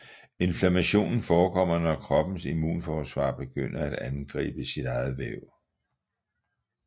Inflammationen forekommer når kroppens immunforsvar begynder at angribe sit eget væv